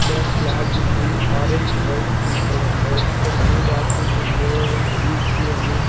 ఇక్కడ ఫ్లాగ్ ఉంది orange white green colour లో ఇక్కడ నేమ్ రాసుంది ఓ_యన్_జి_సి అని.